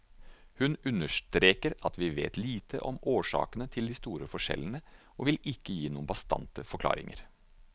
Hun understreker at vi vet lite om årsakene til de store forskjellene og vil ikke gi noen bastante forklaringer.